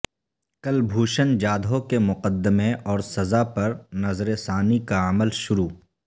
کلبھوشن جادھو کے مقدمے اور سزا پر نظر ثانی کا عمل شروع